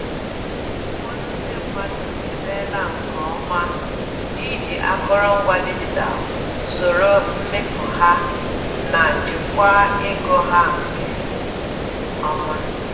Ụfọdụ ndi mmadụ emeela nke ọma n’iji akụrụngwa dijitalụ soro mmefu ha na jikwaa ego ha nke ọma.